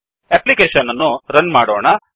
application ಅನ್ನು run ಮಾಡೋಣ